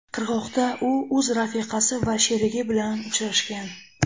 Qirg‘oqda u o‘z rafiqasi va sherigi bilan uchrashgan.